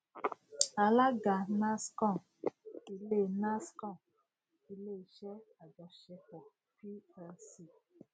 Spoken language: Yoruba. alága nascon ile nascon ile iṣẹ ajọṣepọ plc